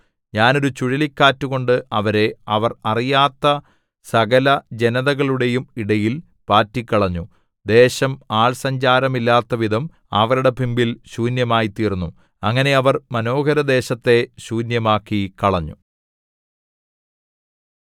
ഞാൻ ഒരു ചുഴലിക്കാറ്റുകൊണ്ട് അവരെ അവർ അറിയാത്ത സകലജനതകളുടെയും ഇടയിൽ പാറ്റിക്കളഞ്ഞു ദേശം ആൾ സഞ്ചാരമില്ലാത്തവിധം അവരുടെ പിമ്പിൽ ശൂന്യമായിത്തീർന്നു അങ്ങനെ അവർ മനോഹരദേശത്തെ ശൂന്യമാക്കിക്കളഞ്ഞു